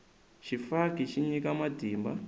xifaki xi nyika matimba